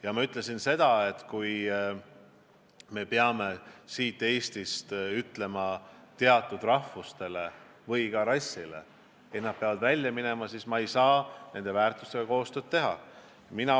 Ja ma ütlesin ka seda, et kui kellegi arvates me peaksime siin Eestis ütlema teatud rahvusest või rassist inimestele, et nad peavad lahkuma, siis ma ei saa koostööd teha.